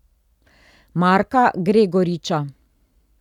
Marka Gregoriča.